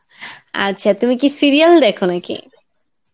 আচ্ছা, তুমি কি serial দেখো নাকি?